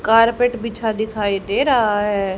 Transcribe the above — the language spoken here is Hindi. कारपेट बिछा दिखाई दे रहा है।